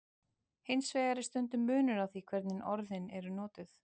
Hins vegar er stundum munur á því hvernig orðin eru notuð.